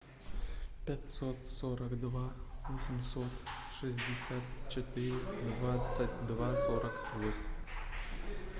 пятьсот сорок два восемьсот шестьдесят четыре двадцать два сорок восемь